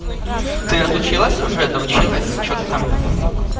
ты отучилась уже доучилась что-то там